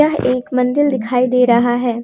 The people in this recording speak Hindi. यह एक मंदिर दिखाई दे रहा है।